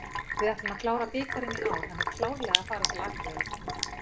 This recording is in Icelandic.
Við ætlum að klára bikarinn í ár, hann er klárlega að fara til Akureyrar.